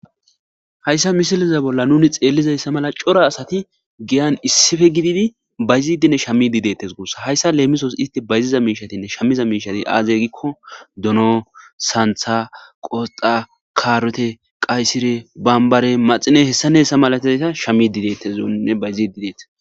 Hayssa misilize bolla nuni xeellizayssa mala cora asati geyan issippe gididi bayzidinne shamidi dettes. Guossa hayssa leemisos isti bayziza miishatinne shammiza miishati aaze gikko dono, santha, qosxa, kaarote, qaysire, bambare, maxine hessa nessa malatayta shamidi deetteszoine bayzidi deetes.